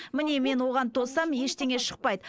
міне мен оған тоссам ештеңе шықпайды